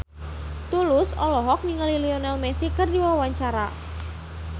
Tulus olohok ningali Lionel Messi keur diwawancara